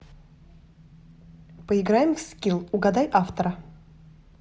поиграем в скилл угадай автора